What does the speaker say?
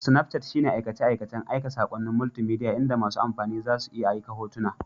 Snapchat shine aikace-aikacen aika saƙonnin multimedia inda masu amfani za su iya aika hotuna